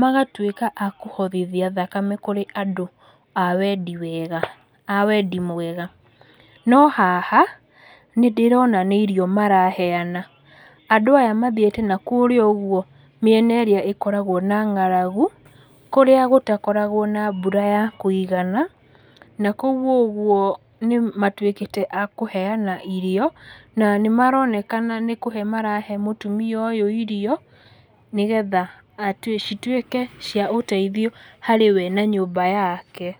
magatwĩka a kũhothithia thakame kũrĩ andũ a wendi wega a wendi mwega. No haha, nĩndĩrona nĩ irio maraheana, Andũ aya mathiĩte nakũrĩa ũguo mĩena ĩrĩa ĩkoragwo na ng'aragu, nakũrĩa ũguo gũtakoragwo na mbura ya kũigana, nakũu ũguo nĩamtwĩkíte a kũheana irio, na nĩmaronekana nĩkũhe marahe mũtumia ũyũ irio nĩgetha citwĩke cia ũteithio harĩ we na nyũmba yake